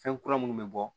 Fɛn kura minnu bɛ bɔ